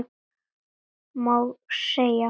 Má segja?